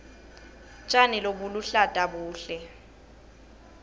tjani lobuluhlata buhle